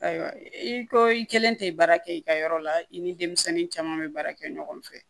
Ayiwa i ko i kelen tɛ baara kɛ i ka yɔrɔ la i ni denmisɛnnin caman bɛ baara kɛ ɲɔgɔn fɛ